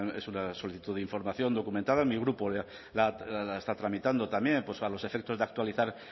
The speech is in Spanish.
es una solicitud de información documentada mi grupo la está tramitando también a los efectos de actualizar